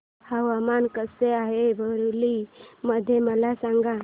हवामान कसे आहे बरेली मध्ये मला सांगा